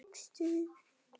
Guðný: Og hvaða lag tókstu?